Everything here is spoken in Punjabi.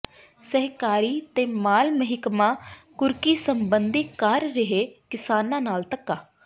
ਸਹਿਕਾਰੀ ਤੇ ਮਾਲ ਮਹਿਕਮਾ ਕੁਰਕੀ ਸਬੰਧੀ ਕਰ ਰਿਹੈ ਕਿਸਾਨਾਂ ਨਾਲ ਧੱਕਾ